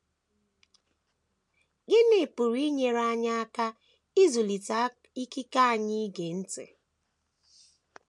Gịnị pụrụ inyere anyị aka ịzụlite ikike anyị ige ntị?